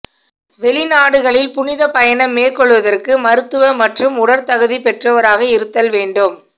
வெளிநாடுகளில் புனித பயணம் மேற்கொள்வதற்கு மருத்துவ மற்றும் உடற்தகுதி பெற்றவராக இருத்தல் வேண்டும்